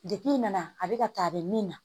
Depi nana a bɛ ka taa a bɛ min na